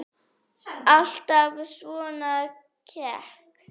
Alltaf svona kekk?